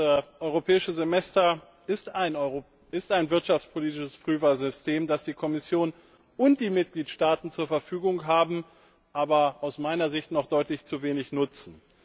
Das Europäische Semester ist ein wirtschaftspolitisches Frühwarnsystem, das die Kommission und die Mitgliedstaaten zur Verfügung haben, das sie aber aus meiner Sicht noch deutlich zu wenig nutzen.